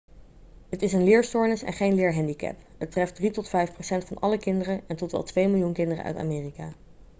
het is een leerstoornis en geen leerhandicap het treft 3 tot 5 procent van alle kinderen en tot wel 2 miljoen kinderen uit amerika'